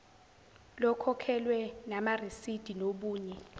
lokhokhelwe namarisidi nobunye